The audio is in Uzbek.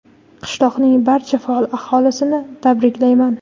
Qishloqning barcha faol aholisini tabriklayman.